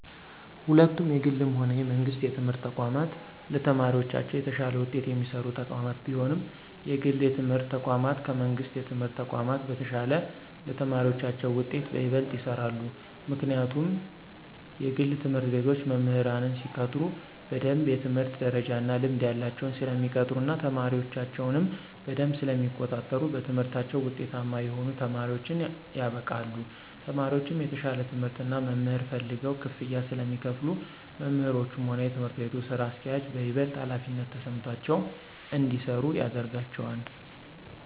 ሁለቱም የግልም ሆነ የመንግስት የትምህርት ተቋማት ለተማሪዎቻቸው የተሻለ ውጤት የሚሰሩ ተቋማት ቢሆኑም የግል የትምህርት ተቋማት ከመንግሥት የትምህርት ተቋም በተሻለ ለተማሪዎቻቸው ውጤት በይበልጥ ይሰራሉ። ምክንያቱም የግል ትምህርት ቤቶች መምህራንን ሲቀጥሩ በደምብ የትምህርት ደረጃ እና ልምድ ያላቸውን ስለሚቀጥሩ እና ተማሪዎቻቸውንም በደምብ ስለሚቆጣጠሩ በትምህርታቸው ውጤታማ የሆኑ ተማሪዎችን ያበቃሉ። ተማሪዎቹም የተሻለ ትምህርት እና መምህር ፈልገው ክፍያ ስለሚከፍሉ መምህሮቹም ሆኑ የትምህርት ቤቱ ስራ አስኪያጆች በይበልጥ ሀላፊነት ተሰምቷቸው እንዲሰሩ ያደርጋቸዋል።